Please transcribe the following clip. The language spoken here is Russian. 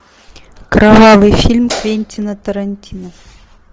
кровавый фильм квентина тарантино